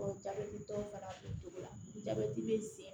jabɛti tɔ fana o cogo la jabɛti bɛ sen